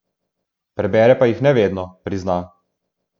Prebere pa jih ne vedno, prizna.